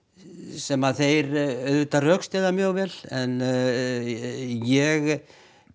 sem þeir rökstyðja mjög vel ég